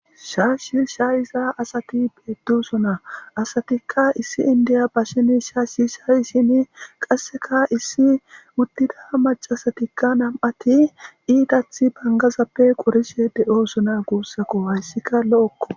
shaashi shaayiza asati beetdusuna asatikka issi indiya basheni shaashi shaayi shini qasseka issi uttida macasatikka nam7ati iitathi bangazappe qorishe de7osuna guussako hayssika lo7okko